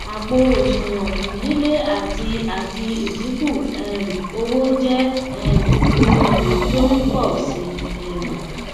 àpò òsùwòn fún lílé àti àti ìdíkù um owó jé um ohun ìní tó n pò si um